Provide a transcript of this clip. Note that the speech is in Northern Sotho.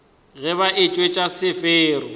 ge ba etšwa ka sefero